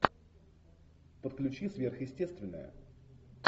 подключи сверхъестественное